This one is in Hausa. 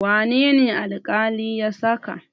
Wane ne alƙali ya saka?